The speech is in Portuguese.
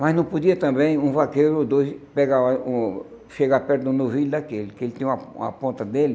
Mas não podia também um vaqueiro ou dois pegar o hum chegar perto do novilho daquele, que ele tinha uma uma ponta dele